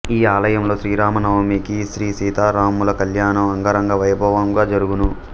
ఈ ఆలయంలో శ్రీరామనవమికి శ్రీ సీతారాముల కళ్యాణం అంగరంగ వైభవముగా జరుగును